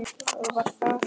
Það var það.